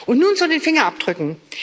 Und nun zu den Fingerabdrücken.